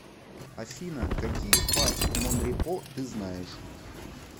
афина какие парк монрепо ты знаешь